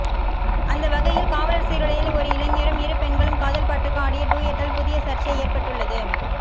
அந்தவகையில் காவலர் சீருடையில் ஒரு இளைஞரும் இரு பெண்களும் காதல் பாட்டுக்கு ஆடிய டூயட்டால் புதிய சர்ச்சை ஏற்பட்டுள்ளது